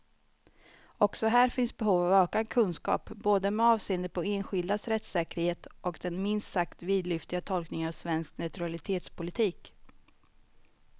Också här finns behov av ökad kunskap, både med avseende på enskildas rättssäkerhet och den minst sagt vidlyftiga tolkningen av svensk neutralitetspolitik.